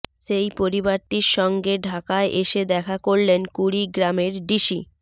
সেই পরিবারটির সঙ্গে ঢাকায় এসে দেখা করলেন কুড়িগ্রামের ডিসি